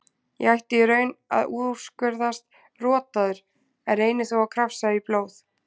Ég ætti í raun að úrskurðast rotaður en reyni þó að krafsa í blóð